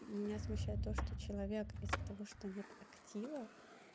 меня смущает то что человек из-за того что нет актива